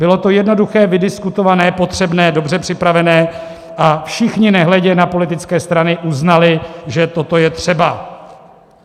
Bylo to jednoduché, vydiskutované, potřebné, dobře připravené a všichni nehledě na politické strany uznali, že toto je třeba.